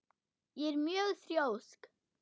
Ég er mjög þrjósk.